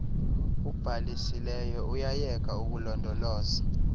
ubhalisileyo uyayeka ukulondoloza